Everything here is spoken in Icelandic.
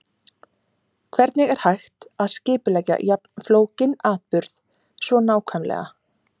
Hvernig er hægt að skipuleggja jafn flókinn atburð svo nákvæmlega?